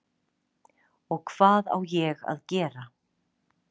Og hvað á ég að gera?